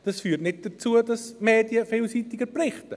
– Dies führt nicht dazu, dass die Medien vielseitiger berichten.